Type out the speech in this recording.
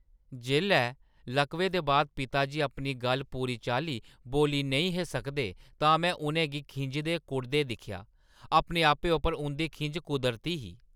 जेल्लै लकवे दे बाद पिता जी अपनी गल्ल पूरी चाल्ली बोल्ली नेईं हे सकदे तां में उ'नें गी खिंझदे-कुढ़दे दिक्खेआ। अपने आपै उप्पर उं'दी खिंझ कुदरती ही।